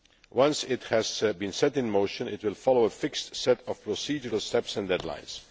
Once it has been set in motion, it will follow a fixed set of procedural steps and deadlines.